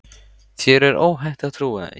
Þér er óhætt að trúa því.